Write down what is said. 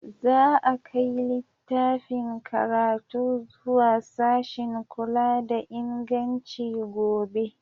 Za a kai littafin karatu zuwa sashin kula da inganci gobe.